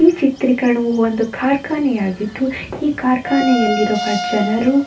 ಈ ಚಿತ್ರೀಕರಣವು ಒಂದು ಕಾರ್ಖಾನೆ ಆಗಿದ್ದು ಈ ಕಾರ್ಖಾನೆಯಲ್ಲಿ ಇರುವ ಜನರು --